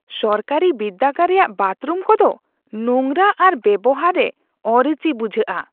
ᱥᱚᱨᱠᱟᱨᱟᱤ ᱵᱤᱨᱫᱟᱹᱜᱟᱲ ᱨᱮᱭᱟᱜ ᱵᱟᱛᱷᱨᱩᱢ ᱠᱚᱫᱚ ᱱᱚᱝᱨᱟ ᱟᱨ ᱵᱮᱣᱦᱟᱨ ᱨᱮ ᱚᱨᱩᱪᱤ ᱵᱩᱡᱷᱟᱹᱜᱼᱟ ᱾